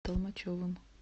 толмачевым